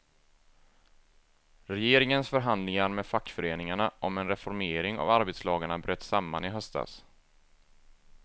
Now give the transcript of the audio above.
Regeringens förhandlingar med fackföreningarna om en reformering av arbetslagarna bröt samman i höstas.